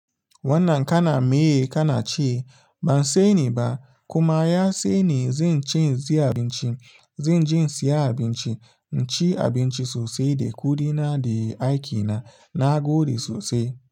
Wannan ka na meye ka na ce ba saini ba kuma ya se ne zan ci zai siya abinci, zan je siya abinci, in ci abinci sosai da kuɗina da aikina na gode sosai.